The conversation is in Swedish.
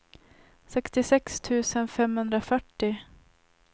sextiosex tusen femhundrafyrtio